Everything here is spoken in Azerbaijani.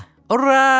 Hurra!